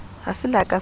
ha se le ka felang